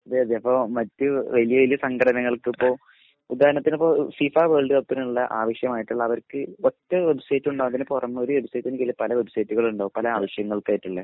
അതെയതെ ഇപ്പൊ മറ്റ് വലിയ വലിയ വലിയ സംഘടനകൾക്ക് ഇപ്പൊ ഉദാഹരണത്തിന് ഇപ്പൊ ഫിഫ വേൾഡ് കപ്പിനുള്ള ആവിശ്യമായിട്ടുള്ള അവർക്ക് ഒറ്റ വെബ്സൈറ്റ് ഉണ്ട് അതിന് പുറമെ ഒരു വെബ്‌സൈറ്റിന് പല വെബ്സൈറ്റുകൾ ഉണ്ടാവും പല ആവിശ്യങ്ങൾക്കായിട്ടുള്ള